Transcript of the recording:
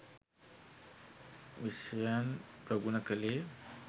විෂයයන් ප්‍රගුණ කළේ.